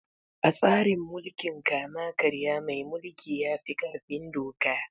A tsarin mulkin kama karya mai mulki ya fi ƙarfin doka.